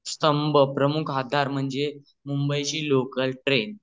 प्रमुख आधार म्हणजे मुंबई ची लोकाल ट्रेन